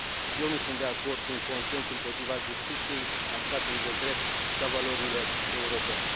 Eu nu sunt de acord cu un consens împotriva justiției, a statului de drept și a valorilor europene.